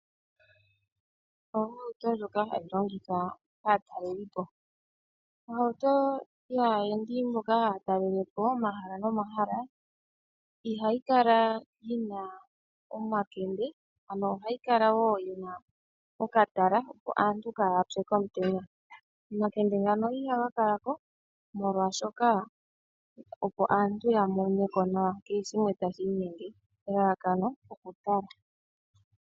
Ohauto ndjoka hayi longithwa kaatalelipo, ohauto yaayendi mboka haya talele po omahala nomahala ihayi kala yi na omakende ano ohayi kala woo yi na okatala opo aantu kaaya pye komutenya. Omakende ngano ihaga kala ko molwaashoka opo aantu ya mone ko nawa kehe shimwe tashi inyenge, elalakano okutala.